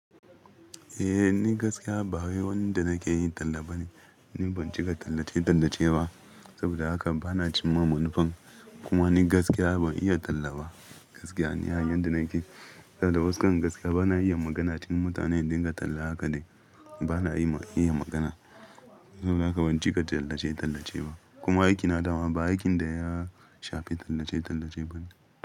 Eh ni gaskiya ba wai wani da nakeyi tallaba ne. Ni ban cika tallace-tallace ba saboda haka bana cimma manufan kuma ni gaskiya ban iya tallaba gaskiya. Ni a yanda nake, saboda waskar gaskiya bana iya magana. Cikin n mutane dinga talla haka dai bana iya magana. Saboda haka ban cika tallace-tallace ba kuma aikina dama ba aikin da ya shafi tallace-tallace bane.